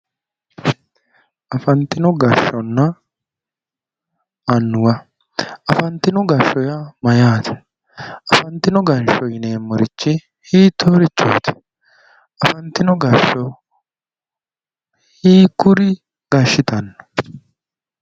Afantinno gashshaanonna annuwa afantino gashshaano yaa mayyaate? Afantino gashshaano yineemmorichi hiittoorichooti? Afantino gashsho hiikkuri gashshitanno?